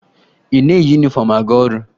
Ị na-eyi yunifọmụ aga ọrụ?